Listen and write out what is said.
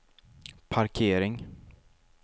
parkering